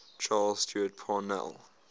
charles stewart parnell